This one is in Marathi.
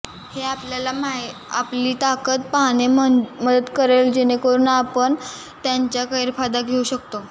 हे आपल्याला आपली ताकद पाहणे मदत करेल जेणेकरून आपण त्यांचा गैरफायदा घेऊ शकता